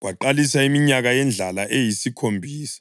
kwaqalisa iminyaka yendlala eyisikhombisa,